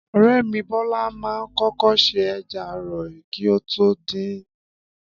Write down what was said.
Ọ̀rẹ́ mi Bọ́lá ma ń kókó ṣe ẹja ààrọ kí o tó din